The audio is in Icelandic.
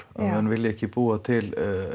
menn vilja ekki búa til